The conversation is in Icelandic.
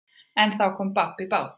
En þá kom babb í bát.